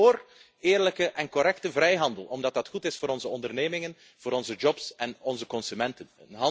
Wij kiezen vóór eerlijke en correcte vrijhandel, omdat die goed is voor onze ondernemingen, onze banen en onze consumenten.